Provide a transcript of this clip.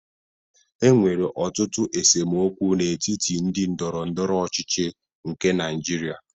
E nwere ọtụtụ esemokwu n'etiti ndị ndọrọndọrọ ọchịchị nke Naịjirịa